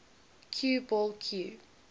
cue ball cue